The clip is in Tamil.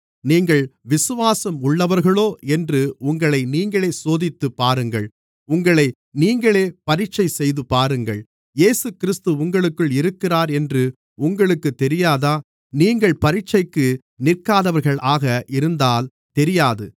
நீங்கள் விசுவாசம் உள்ளவர்களோ என்று உங்களை நீங்களே சோதித்துப்பாருங்கள் உங்களை நீங்களே பரீட்சை செய்துபாருங்கள் இயேசுகிறிஸ்து உங்களுக்குள் இருக்கிறார் என்று உங்களுக்குத் தெரியாதா நீங்கள் பரீட்சைக்கு நிற்காதவர்களாக இருந்தால் தெரியாது